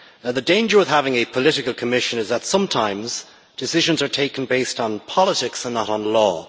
The danger of having a political Commission is that sometimes decisions are taken based on politics and not on law